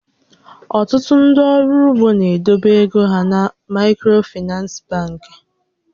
Ọtụtụ ndị ọrụ ugbo na-edobe égo hà na Maịkrofinans bankị